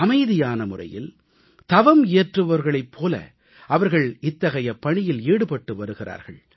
அமைதியான முறையில் தவம் இயற்றுபவர்களைப் போல அவர்கள் இத்தகைய பணியில் ஈடுபட்டு வருகிறார்கள்